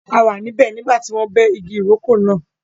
A wà níbẹ̀ nígbà tí wọ́n bẹ́ igi ìrókò náà.